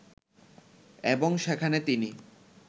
এবং সেখানে তিনি